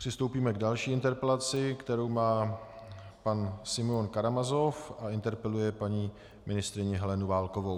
Přistoupíme k další interpelaci, kterou má pan Simeon Karamazov a interpeluje paní ministryni Helenu Válkovou.